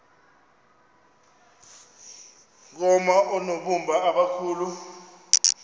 koma oonobumba abakhulu